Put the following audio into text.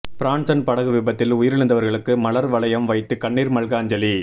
Branson படகு விபத்தில் உயிரிழந்தவர்களுக்கு மலர் வளையம் வைத்து கண்ணீர் மல்க அஞ்சலி